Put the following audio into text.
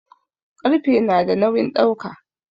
Ƙarfe nada nawin dauka